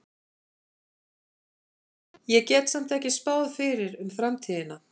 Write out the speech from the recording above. Ég get samt ekki spáð fyrir um framtíðina.